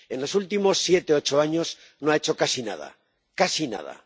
en los últimos siete u ocho años, no ha hecho casi nada, casi nada.